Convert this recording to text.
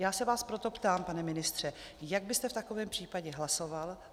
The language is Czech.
Já se vás proto ptám, pane ministře, jak byste v takovém případě hlasoval.